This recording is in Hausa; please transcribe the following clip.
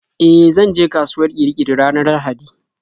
E, zanje kasuwar Kirikiri ranar Lahadi.